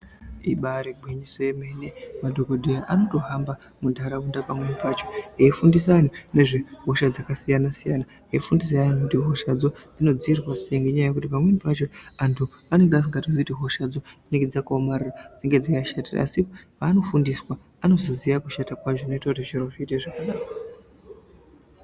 Ibari regwinyiso romene kuti vantu vambohamba muntaraunda vechifundise vantu nezvehosha dzakasiyana-siyana, vachifundise vantu kuti hoshadzo dzinodzivirirwa sei nekuti pamweni pacho antu anenge asingatozivi kuti hoshadzo dzinenge dzakaomarara dzine zvadzakashatira asi paanofundiswa anozoziva kushata kwadzo zvinoita kuti zviro zviite zvakanaka.